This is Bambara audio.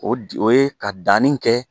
O di o ye ka danni kɛ